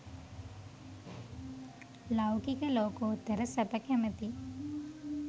ලෞකික ලෝකෝත්තර සැප කැමති